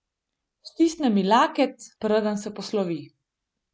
Stisne mi laket, preden se poslovi.